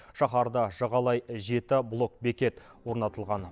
шаһарды жағалай жеті блокбекет орнатылған